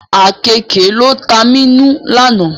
Àkeekè ló ta mí nù àná